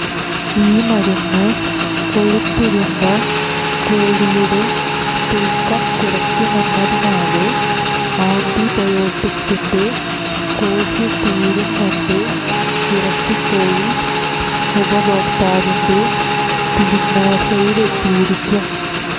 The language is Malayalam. ഈ മരുന്ന് കൊഴുത്തുരുണ്ട കോഴിയുടെ തൂക്കം കുറക്കുമെന്നതിനാല് ആന്റിബയോട്ടിക്്സിന്റെ കോഴ്സുതീരും മുമ്പേ ഇറച്ചിക്കോഴി ഉപഭോക്താവിന്റെ തീന്മേശയിലെത്തിയിരിക്കും